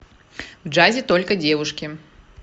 в джазе только девушки